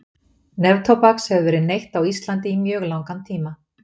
neftóbaks hefur verið neytt á íslandi í mjög langan tíma